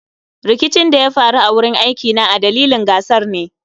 Rikicin da ya faru a wurin aikina a dalilin gasar ne